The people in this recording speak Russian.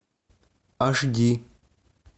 аш ди